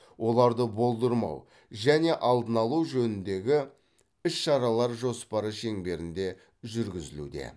оларды болдырмау және алдын алу жөніндегі іс шаралар жоспары шеңберінде жүргізілуде